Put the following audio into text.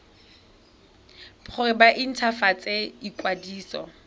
gore ba nt hwafatse ikwadiso